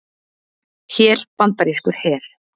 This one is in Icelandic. Hér bandarískur her.